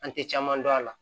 An te caman dɔn a la